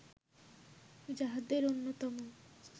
যাহাদের অন্যতম